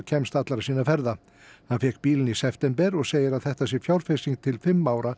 kemst allra sinna ferða hann fékk bílinn í september og segir að þetta sé fjárfesting til fimm ára